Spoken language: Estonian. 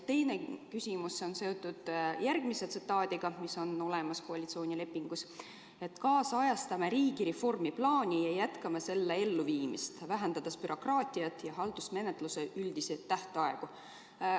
Teine küsimus on seotud ka ühe lausega, mis on olemas koalitsioonilepingus: "Kaasajastame riigireformi plaani ja jätkame selle elluviimist, vähendades bürokraatiat ja haldusmenetluse üldisi tähtaegu.